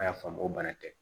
An y'a faamu o bana tɛ